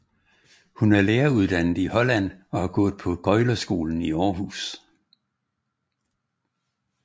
Hun er læreruddannet i Holland og har gået på Gøglerskolen i Århus